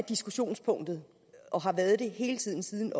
diskussionspunktet og har været det hele tiden siden